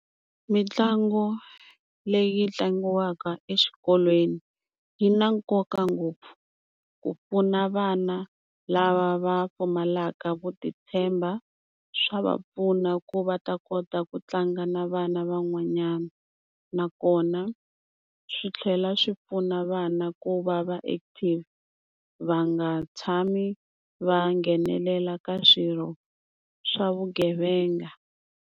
Mitlangu leyi tlangiwaka exikolweni yi na nkoka ngopfu ku pfuna vana lava va pfumalaka ku ti tshemba swa va pfuna ku va ta kota ku tlanga na vana van'wanyana nakona swi tlhela swi pfuna vana ku va va active va nga tshami va nghenelela ka swirho swa vugevenga.